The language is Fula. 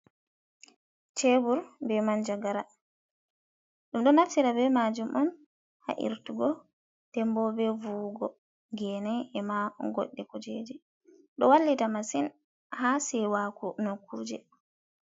Chebur be man jagara ɗum ɗo naftira be majum on ha irtugo dembo be vuwugo gene e ma goɗɗe kujeji ɗo wallita masin ha sewaku nokurje.